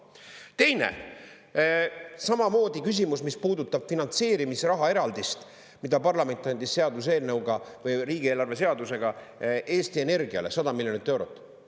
Teine: samamoodi küsimus, mis puudutab finantseerimisraha eraldist, mida parlament andis seaduseelnõuga või riigieelarve seadusega Eesti Energiale 100 miljonit eurot.